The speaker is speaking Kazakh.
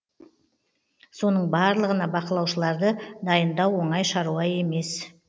соның барлығына бақылаушыларды дайындау оңай шаруа емес